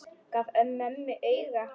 Gaf mömmu auga.